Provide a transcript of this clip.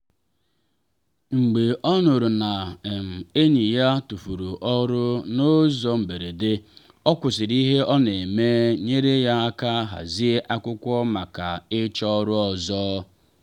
mgbe o nụrụ na um enyi ya tufuru ọrụ n’ụzọ mberede o kwụsịrị ihe ọ na eme nyere ya aka hazie akwụkwọ maka ịchọ ọrụ ọzọ.